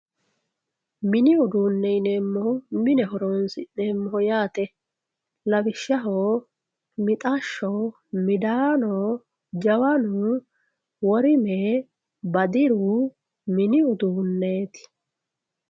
Mini uduunichi mine horonsinemoho yaate lawishshaho mixashsho midaano jawanu worime badiru mini uduuneti.